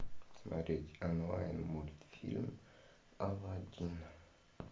смотреть онлайн мультфильм алладин